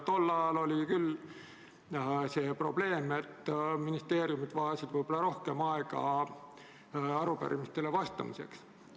Tol ajal oli küll see probleem, et ministeeriumid vajasid võib-olla rohkem aega arupärimistele vastamiseks.